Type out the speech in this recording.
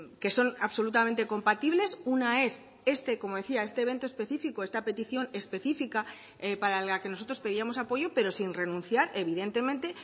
que son absolutamente compatibles una es este como decía este evento específico esta petición específica para la que nosotros pedíamos apoyo pero sin renunciar evidentemente